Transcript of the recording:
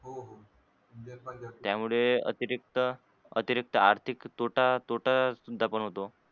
त्यमुळे अतिरिक्त अतिरिक्त आर्थिक तोटा तोटा शुद्धा पण होतो.